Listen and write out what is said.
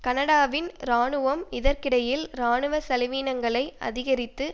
கனடாவின் இராணுவம் இதற்கிடையில் இராணுவ செலவீனங்களை அதிகரித்து